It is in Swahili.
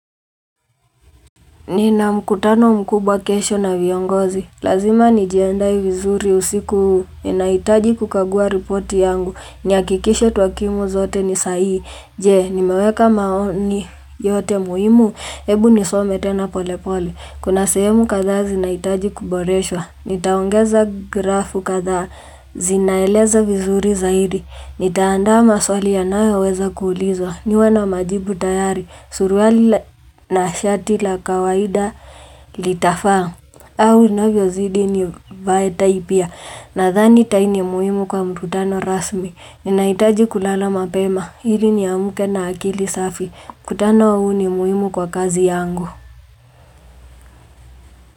Ni na mkutano mkubwa kesho na viongozi. Lazima ni jiandae vizuri usiku ninaitaji kukagua ripoti yangu. Ni hakikishe twakimu zote ni sahihi. Je, nimeweka maoni yote muhimu. Hebu nisome tena pole pole. Kuna sehemu kathaa zinaitaji kuboreswa. Nitaongeza grafu kathaa zinaeleza vizuri zaidi. Nitaandaa ma swali yanayoweza kuulizwa. Niwe na majibu tayari, suruwali na shati la kawaida litafaa. Au inavyo zidii nivae taipia. Na dhani tai ni muhimu kwa mkutano rasmi. Ninaitaji kulala mapema. Hili ni amke na akili safi. Mkutano huu ni muhimu kwa kazi yangu.